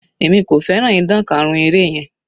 Èmi kò fẹ́ràn ìdan karun eré yẹn.